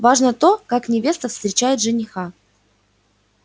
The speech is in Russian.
важно то как невеста встречает жениха